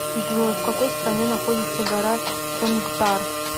джой в какой стране находится гора чонгтар